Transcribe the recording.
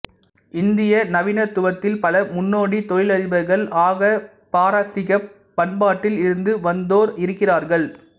இந்திய நவீனத்துவத்தில் பல முன்னோடி தொழிலதிபர்கள் ஆக பாரசீகப் பண்பாட்டில் இருந்து வந்தோர் இருக்கிறார்கள்